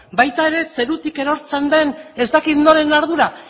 baita ere zerutik erortzen den ez dakit noren ardura